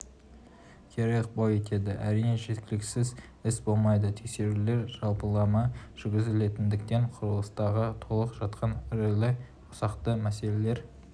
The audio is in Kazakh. кері ықпал етеді әрине кемшіліксіз іс болмайды тексерулер жалпылама жүргізілетіндіктен құрылыстағы толып жатқан ірілі-ұсақты мәселелер